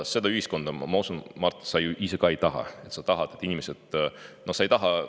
Seda ühiskonda, ma usun, Mart, sa ju ise ka ei taha.